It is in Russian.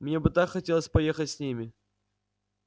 мне бы так хотелось поехать с ними